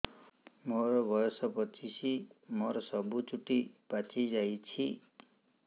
ମୋର ବୟସ ପଚିଶି ମୋର ସବୁ ଚୁଟି ପାଚି ଯାଇଛି